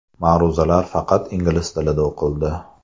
Ma’ruzalar faqat ingliz tilida o‘qildi.